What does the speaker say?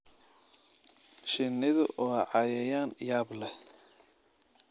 Shinnidu waa cayayaan yaab leh.